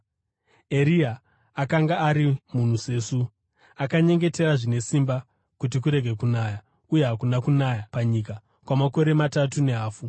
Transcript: Eria akanga ari munhu sesu. Akanyengetera zvine simba kuti kurege kunaya, uye hakuna kunaya panyika kwamakore matatu nehafu.